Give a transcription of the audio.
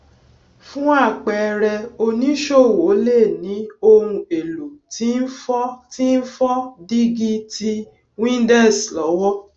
fún àpẹẹrẹ oníṣòwò lè ní ohun èlò tí n fọ tí n fọ dígí ti windex lọwọ